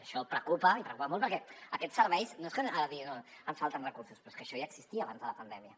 i això preocupa i preocupa molt perquè aquests serveis no és que ara diguin no ens falten recursos però és que això ja existia abans de la pandèmia